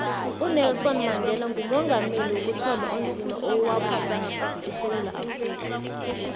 unelson mandela ngumongameli wokuthoma onzima owabusako esewula afrika